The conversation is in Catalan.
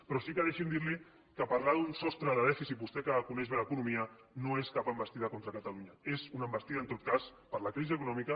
però sí que deixi’m dir li que parlar d’un sostre de dèficit vostè que coneix bé l’economia no és cap envestida contra catalunya és una envestida en tot cas per la crisi econòmica